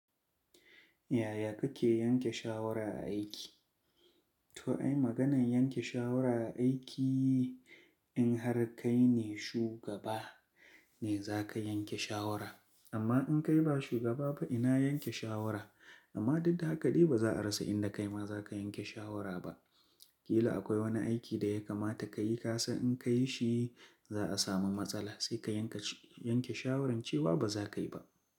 Yaya kake yanke shawara a aiki? To ai maganan yanke shawara a aiki in har kai ne shugaba ne za ka yanke shawara. Amma in kai ba shugaba ba ina yanke shawara? Amma dudda haka dai ba za a rasa inda kai ma za ka yanke shawara ba. Ƙila akwai wani aiki da ya kamata ka yi ka san in ka yi shi za a samu matsala sai ka yanke, yanke shawara cewa ba za ka yi ba.